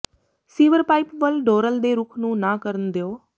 sewer pipe ਵੱਲ ਡੋਰਲ ਦੇ ਰੁਖ ਨੂੰ ਨਾ ਕਰਨ ਦਿਓ